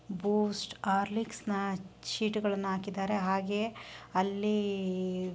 ಬೂಸ್ಟ್ Horlicks sheet ಹಾಕಿದ್ರೇಯೇ ಹಾಗೆ ಆಲಿ